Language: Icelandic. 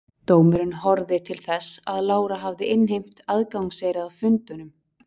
dómurinn horfði til þess að lára hafði innheimt aðgangseyri að fundunum